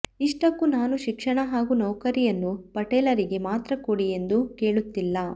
ಇಷ್ಟಕ್ಕೂ ನಾನು ಶಿಕ್ಷಣ ಹಾಗೂ ನೌಕರಿಯನ್ನು ಪಟೇಲರಿಗೆ ಮಾತ್ರ ಕೊಡಿ ಎಂದು ಕೇಳುತ್ತಿಲ್ಲ